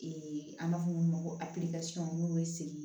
an b'a fɔ mun ma ko apirizi n'u bɛ segin